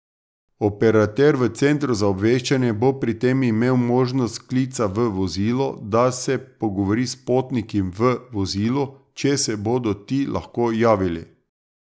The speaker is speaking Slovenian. Operater v centru za obveščanje bo pri tem imel možnost klica v vozilo, da se pogovori s potniki v vozilu, če se bodo ti lahko javili.